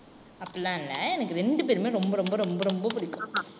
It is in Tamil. அப்படில்லாம் இல்லை எனக்கு இரண்டு பேருமே ரொம்ப ரொம்ப ரொம்ப ரொம்ப பிடிக்கும்.